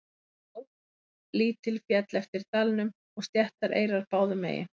Á lítil féll eftir dalnum og sléttar eyrar báðum megin.